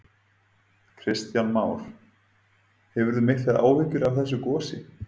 Kristján Már: Hefurðu miklar áhyggjur af þessu gosi?